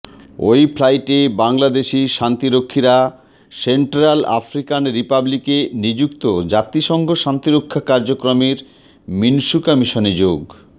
ওই ফ্লাইটে বাংলাদেশি শান্তিরক্ষীরা সেন্ট্রাল আফ্রিকান রিপাবলিকে নিযুক্ত জাতিসংঘ শান্তিরক্ষা কার্যক্রমের মিনুসকা মিশনে যোগ